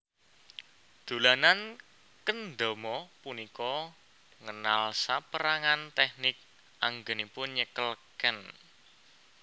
Dolanan kendama punika ngenal sapérangan tèknik anggènipun nyekel ken